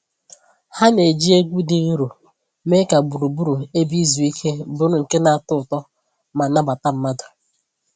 Ha na-eji egwu dị nro mee ka gburugburu ebe izu ike bụrụ nke na-atọ ụtọ ma nabata mmadụ